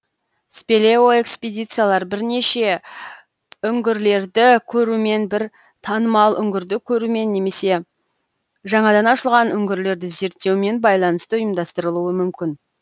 спелеоэкспедициялар бірнеше үңгірлерді көрумен бір танымал үңгірді көрумен немесе жаңадан ашылған үңгірлерді зерттеумен байланысты ұйымдастырылуы мүмкін